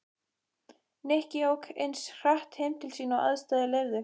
Nikki ók eins hratt heim til sín og aðstæður leyfðu.